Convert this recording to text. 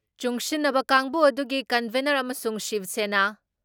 ꯆꯨꯡꯁꯤꯟꯅꯕ ꯀꯥꯡꯕꯨ ꯑꯗꯨꯒꯤ ꯀꯟꯚꯦꯟꯅꯔ ꯑꯃꯁꯨꯡ ꯁꯤꯕ ꯁꯦꯅꯥ,